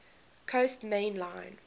coast main line